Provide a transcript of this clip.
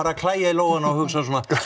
að klæja í lófana og hugsa svona